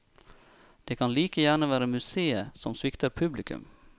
Det kan like gjerne være museet som svikter publikum.